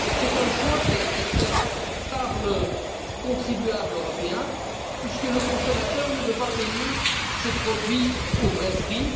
C'est un choix qui a été opéré par le contribuable européen, puisque le consommateur ne veut pas payer ses produits au vrai prix.